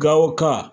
Gawo ka